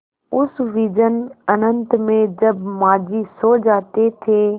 उस विजन अनंत में जब माँझी सो जाते थे